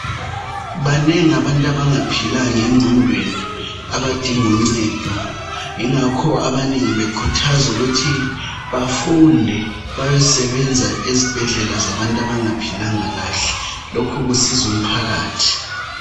Banengi abantu abangaphilanga engqondweni, abadinguncedo. Yingakho abanengi bekhuthazwa ukuthi bafunde bayosebenza ezibhedlela zabantu abangaphilanga kahle. Lokhu kusiza umphakathi.